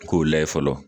K'o layɛ fɔlɔ